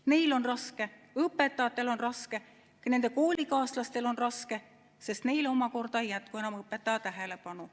Neil on raske, õpetajatel on raske ja ka nende koolikaaslastel on raske, sest neile omakorda ei jätku enam õpetaja tähelepanu.